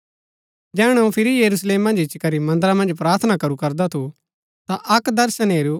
जैहणै अऊँ फिरी यरूशलेम मन्ज इच्ची करी मन्दरा मन्ज प्रार्थना करू करदा थु ता अक दर्शन हेरू